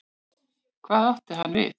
Hvað átti hann við?